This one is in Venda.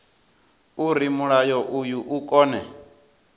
uri mulayo uyu u kone